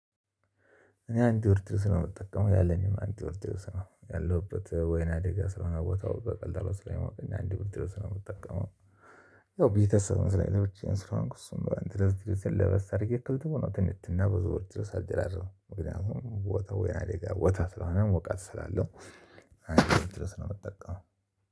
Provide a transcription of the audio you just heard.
እኔ አንድ ወር ድረስ ነው የምጠቀመው ያለኝም አንድ ወር ድረስ ነው ያለሁበት ወይና ደጋ ስለሆነ ቦታው በቀላሉ ስለማውቅ አንድ ብር ድረስ ነው የምጠቀመው። ያው ቤተሰብ መስራት ብቻ ስለሆንኩ እሱን ብለህ ድረስ ለበስ የተክልተው ነው ትንትና በዝውውር ድረስ አልደረረም እውቀቱ ቦታው ወይና ሌጋ ቦታ ስለሆነ ሞቃት ስላለው። አይደለም ድረስ ነው የምትጠቀመው